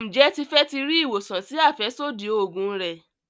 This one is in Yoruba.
Njé Tife tí rí ìwòsàn sí afẹsodi oògùn rẹ.